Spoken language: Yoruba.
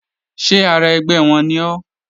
Ṣé ara ẹgbẹ́ wọn ni ọ́?